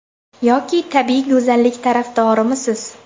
Yoki tabbiy go‘zallik tarafdorimisiz?